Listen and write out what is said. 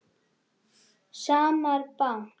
Smári bank